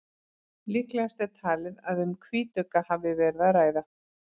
Líklegast er talið að um hvítugga hafi verið að ræða.